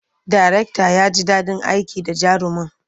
Darektan ya ji daɗin aiki da jarumin.